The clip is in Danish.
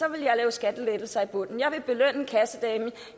jeg lave skattelettelser i bunden jeg ville belønne kassedamen